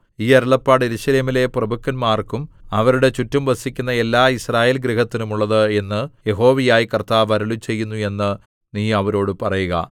ഈ അരുളപ്പാട് യെരൂശലേമിലെ പ്രഭുക്കന്മാർക്കും അവരുടെ ചുറ്റും വസിക്കുന്ന എല്ലാ യിസ്രായേൽ ഗൃഹത്തിനും ഉള്ളത് എന്ന് യഹോവയായ കർത്താവ് അരുളിച്ചെയ്യുന്നു എന്ന് നീ അവരോടു പറയുക